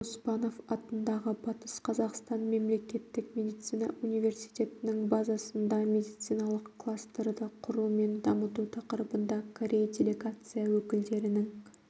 оспанов атындағы батыс қазақстан мемлекеттік медицина университетінің базасында медициналық кластерді құру мен дамыту тақырыбында корей делегация өкілдерінің